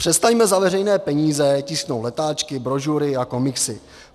Přestaňme za veřejné peníze tisknout letáčky, brožury a komiksy.